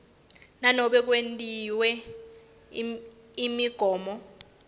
nanobe kwetiwe imigomo